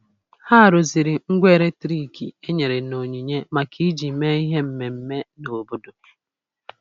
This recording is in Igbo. Ha rụziri ngwa eletrik e nyere n'onyinye maka iji mee ihe mmemme n' obodo.